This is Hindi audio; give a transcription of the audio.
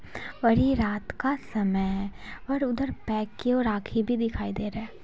और ये रात का समय है| और उधर पैक किए हुए राखी भी दिखाई दे रहा है।